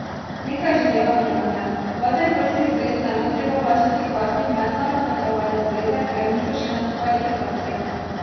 Nekaj že delamo na tem, vaterpolski zvezi ne bo treba plačati kazni Mednarodne plavalne zveze, ker niso šli na kvalifikacije.